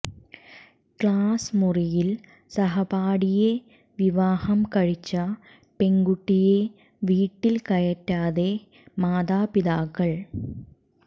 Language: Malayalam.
ക്ലാസ് മുറിയിൽ സഹപാഠിയെ വിവാഹം കഴിച്ച പെൺകുട്ടിയെ വീട്ടിൽ കയറ്റാതെ മാതാപിതാക്കൾ